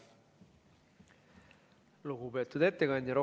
Lugupeetud ettekandja!